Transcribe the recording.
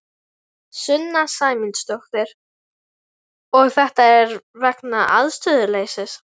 Sunna Sæmundsdóttir: Og þetta er vegna aðstöðuleysis?